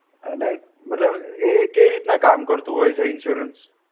અ નઈ. મતલબ એ કેવી રીતના કામ કરતું હોય છે insurance?